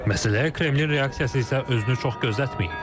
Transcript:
Məsələyə Kremlin reaksiyası isə özünü çox gözlətməyib.